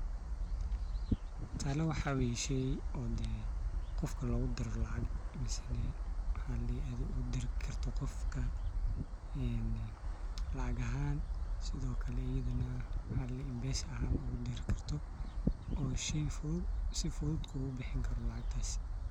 Tala waxa weye sheey oo dee qofka logudiro lacag ama adhiga ogudiri karto lacag ahan mise mpesa ahaan ogudiri karto oo sii fudud kugubixini karo lacagtas.